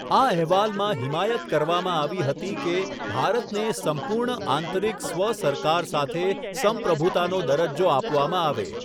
આ અહેવાલમાં હિમાયત કરવામાં આવી હતી કે ભારતને સંપૂર્ણ આંતરિક સ્વ સરકાર સાથે સંપ્રભુતાનો દરજ્જો આપવામાં આવે.